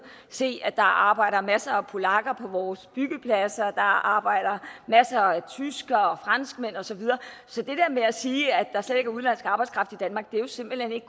se at der arbejder masser af polakker på vores byggepladser der arbejder masser af tyskere og franskmænd og så videre så det der med at sige at der slet ikke er udenlandsk arbejdskraft i danmark er jo simpelt hen ikke